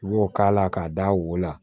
I b'o k'a la k'a d'a wo la